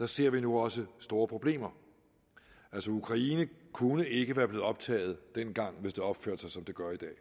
ser vi nu også store problemer altså ukraine kunne ikke være blevet optaget dengang hvis det opførte sig som det gør i dag